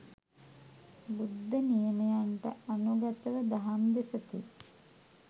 බුද්ධ නියමයන්ට අනුගතව දහම් දෙසති.